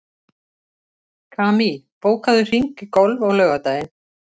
Kamí, bókaðu hring í golf á laugardaginn.